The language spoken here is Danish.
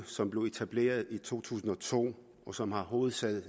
som blev etableret i to tusind og to og som har hovedsæde